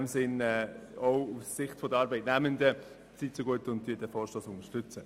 Deshalb bitte ich Sie auch aus Sicht der Arbeitnehmenden, den Vorstoss zu unterstützen.